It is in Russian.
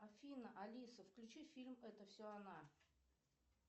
афина алиса включи фильм это все она